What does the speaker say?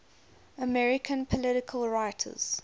american political writers